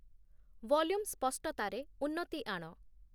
volume ସ୍ପଷ୍ଟତାରେ ଉନ୍ନତି ଆଣ